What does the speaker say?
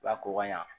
Lako ɲɛ